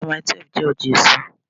Ọjà Mailí 12 jẹ́ ọjà èso.